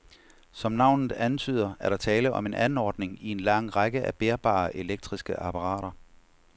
Som navnet antyder, er der tale om en anordning i en lang række af bærbare elektriske apparater.